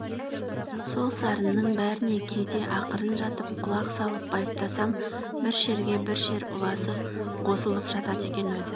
сол сарынның бәріне кейде ақырын жатып құлақ салып байыптасам бір шерге бір шер ұласып қосылып жатады екен өзі